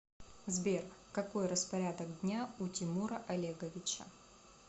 сбер какой распорядок дня у тимура олеговича